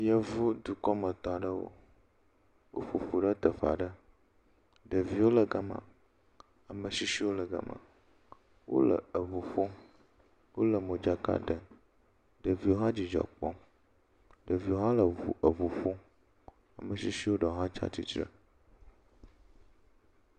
Yevu dukɔmetɔ aɖewo. Woƒo ƒu ɖe teƒe aɖe. Ɖeviwo le gama. Ametsitsiwo le gama. Wole eŋu ƒom. Wole modzaka ɖe. Ɖeviwo h. Ɖeviwo hã le ŋu, eŋu ƒom dzidzɔ kpɔm. Ametsitsi ɖewo hã tsa tsitre.